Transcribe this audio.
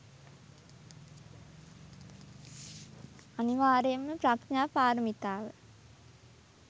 අනිවාර්යයෙන්ම ප්‍රඥා පාරමිතාව